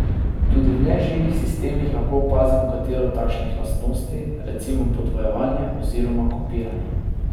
Tudi v neživih sistemih lahko opazimo katero od takšnih lastnosti, recimo podvojevanje oziroma kopiranje.